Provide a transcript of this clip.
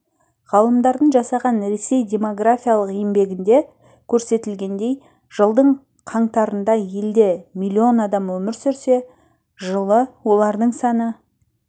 ғалымдардың жасаған ресей демографиялық еңбегінде көрсетілгендей жылдың қаңтарында елде миллион адам өмір сүрсе жылы олардың саны